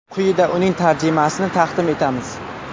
Quyida uning tarjimasini taqdim etamiz.